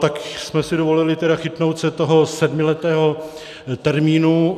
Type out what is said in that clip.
Tak jsme si dovolili tedy chytnout se toho sedmiletého termínu.